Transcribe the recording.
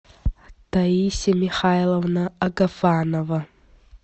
таисия михайловна агафанова